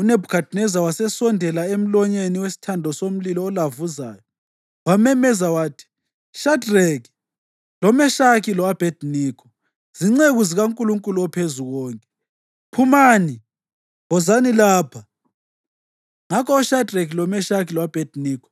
UNebhukhadineza wasesondela emlonyeni wesithando somlilo olavuzayo wamemeza wathi, “Shadreki, loMeshaki lo-Abhediniko, zinceku zikaNkulunkulu oPhezukonke, phumani! Wozani lapha!” Ngakho oShadreki, loMeshaki lo-Abhediniko